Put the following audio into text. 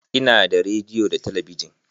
Ina da rediyo da talabijin